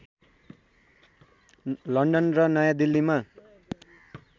London र नयाँ दिल्लीमा